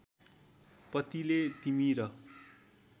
पतिले तिमी र